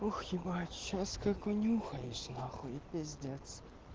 ох ебать сейчас как унюхаюсь нахуй и пиздец